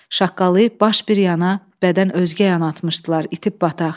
Şaqqalıyıb baş bir yana, bədən özgə yana atmışdılar itib bataq.